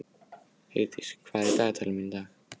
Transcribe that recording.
Heiðdís, hvað er í dagatalinu mínu í dag?